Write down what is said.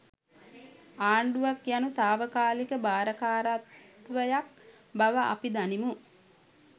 ආණ්ඩුවක් යනු තාවකාලික භාරකාරත්වයක් බව අපි දනිමු.